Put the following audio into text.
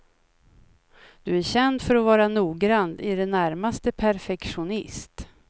Du är känd för att vara noggrann, i det närmaste perfektionist.